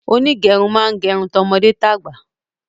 Onígerun màá n gerun ti ọmọdé tàgbà